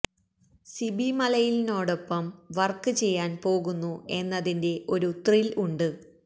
സിബി മലയിലിനോടൊപ്പം വർക്ക് ചെയ്യാൻ പോകുന്നു എന്നതിന്റെ ഒരു ത്രില്ല് ഉണ്ട്